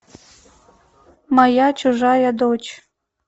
моя чужая дочь